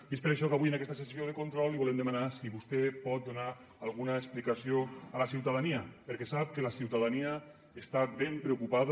i és per això que avui en aquesta sessió de control li volem demanar si vostè pot donar alguna explicació a la ciutadania perquè sap que la ciutadania està ben preocupada